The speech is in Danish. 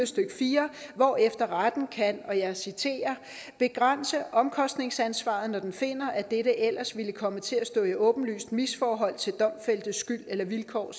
stykke fire hvorefter retten kan og jeg citerer begrænse omkostningsansvaret når den finder at dette ellers ville komme til at stå i åbenbart misforhold til domfældtes skyld og vilkår